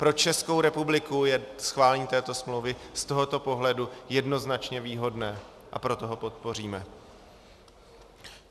Pro Českou republiku je schválení této smlouvy z tohoto pohledu jednoznačně výhodné, a proto ho podpoříme.